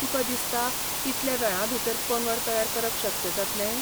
तुका दिसता इतल्या वेळांभीतर पंगड तयार करप शक्य जातलें?